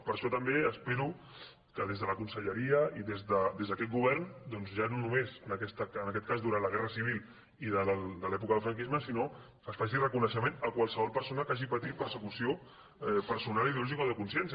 per això també espero que des de la conselleria i des d’aquest govern doncs ja no només en aquest cas durant la guerra civil i de l’època del franquisme sinó que es faci reconeixement a qualsevol persona que hagi patit persecució personal ideològica o de consciència